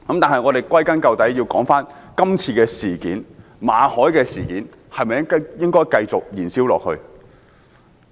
但歸根究底，今次馬凱事件應否繼續燃燒下去？